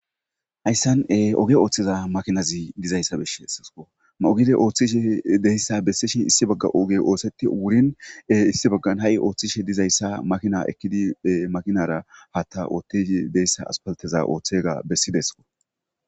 hayssan oge ooththiza makinazi dizayssa besetesikko mogiide ooththishi de'iyssa besetesikko issi bagga oge oosetti wuriin issi baggan ha7i ooththishshe dizayissa makina ekkidi makinara hatta ooththidi deyssa aspaleteza ooththega bessidees